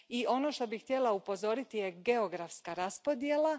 Ono na što bih htjela upozoriti je geografska raspodjela.